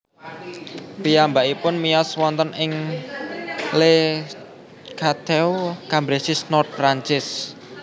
Piyambakipun miyos wonten ing Le Cateau Cambresis Nord Perancis